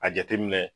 A jateminɛ